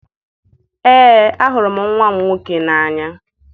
Ee, ahụrụ m nwa m nwoke n'anya